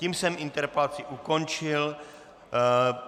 Tím jsem interpelaci ukončil.